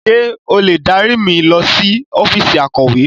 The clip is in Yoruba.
Ṣé o lè dárí mi lọ sí ọ́fíìsì akọ̀we?